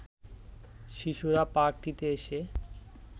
শিশুরা পার্কটিতে এসে